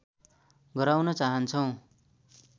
गराउन चाहन्छौं।